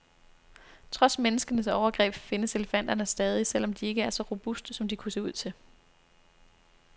Trods menneskenes overgreb findes elefanterne stadig, selv om de ikke er så robuste, som de kunne se ud til.